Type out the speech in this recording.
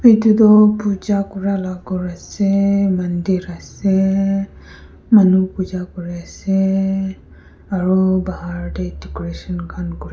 edu toh puja kurala ghor ase mandir ase manu puja kuriase aru bahar tae decoration khan--